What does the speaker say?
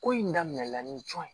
Ko in daminɛna ni cɔ ye